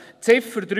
Ziffer 3